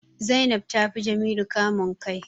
Zainab ta fi Jamilu kamun kai